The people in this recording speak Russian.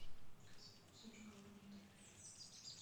со вкусом шоколадного трюфеля